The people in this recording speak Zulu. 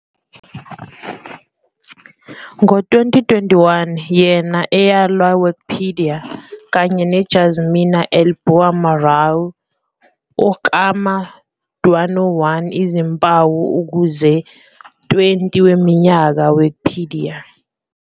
Ngo 2021, yena eyalwa Wikipedia, kanye Jasmina El Bouamraoui, ukuklama 101 izimpawu ukuze 20 weminyaka Wikipedia.